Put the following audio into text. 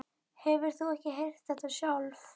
Hefur þú ekki heyrt þetta sjálf?